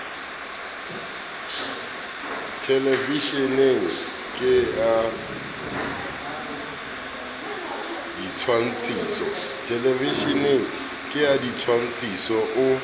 thelevisheneng ke a ditshwantshiso o